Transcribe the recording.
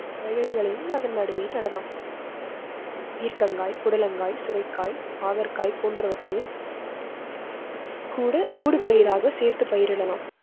வகைகளையும் அதன் நடுவே நடலாம். பீர்க்காய், புடலங்காய், சுரைக்காய், பாகற்காய் போன்றவற்றயும் கூட ஊடுபயிராக சேர்த்து பயிரிடலாம்.